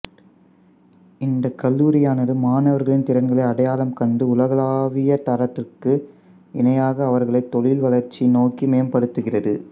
இந்தக் கல்லூரியானது மாணவர்களின் திறன்களை அடையாளம் கண்டு உலகளாவிய தரத்திற்கு இணையாக அவர்களை தொழில் வளர்ச்சி நோக்கி மேம்படுத்துகிறது